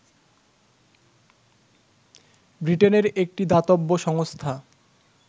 ব্রিটেনের একটি দাতব্য সংস্থা